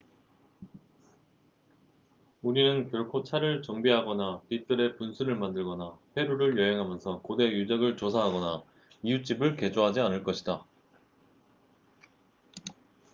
우리는 결코 차를 정비하거나 뒤뜰에 분수를 만들거나 페루를 여행하면서 고대 유적을 조사하거나 이웃집을 개조하지 않을 것이다